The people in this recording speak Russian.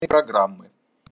программы